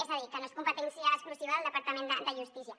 és a dir que no és competència exclusiva del departament de justícia